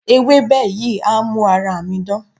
Ewébẹ̀ yìí á mú ara mi dán.